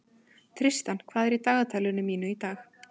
Tristan, hvað er í dagatalinu mínu í dag?